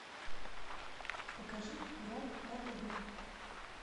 покажи курай на тв